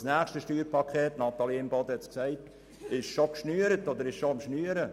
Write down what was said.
Denn das nächste Sparpaket – Natalie Imboden hat es gesagt – wird bereits geschnürt.